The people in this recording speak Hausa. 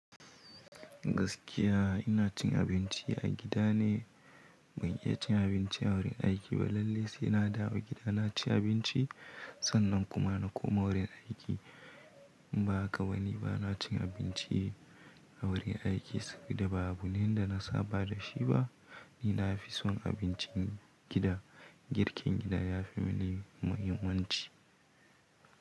Gaskiya ina cin abinci a gida ne. Ban iya cin abinci a wurin aiki ba. Lallai sai na dawo gida na ci abinci, sannan kuma na koma wurin aiki. Ba kawai ni ba na cin abinci a wurin aiki, sai da ba abu ne, inda na saba da shi ba. Ni na fi son abincin gida. Girkin gida ya fi mini muhimmanci.